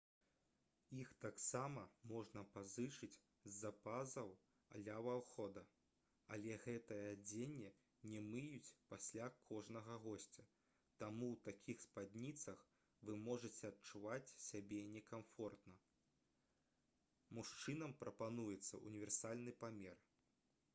іх таксама можна пазычыць з запасаў ля ўвахода але гэтае адзенне не мыюць пасля кожнага госця таму ў такіх спадніцах вы можаце адчуваць сябе некамфортна мужчынам прапануецца ўніверсальны памер